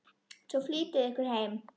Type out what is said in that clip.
Svo flýtiði ykkur heim.